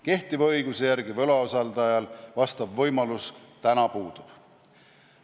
Kehtiva õiguse järgi võlausaldajal vastav võimalus puudub.